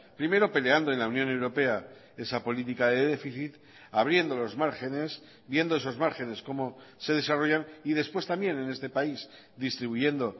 primero peleando en la unión europea esa política de déficit abriendo los márgenes viendo esos márgenes cómo se desarrollan y después también en este país distribuyendo